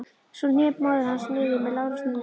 Svo hné móðir hans niður með lágri stunu.